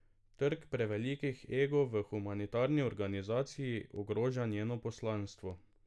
Trk prevelikih egov v humanitarni organizaciji ogroža njeno poslanstvo.